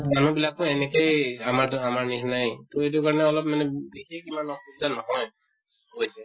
মানুহ বিলাকো এনেকেই আমা আমাৰ নিছিনায়ে । এইটো কাৰণে অলপ মানে বিশেষ ইমান অসুবিধা নহয় । বুইছে ?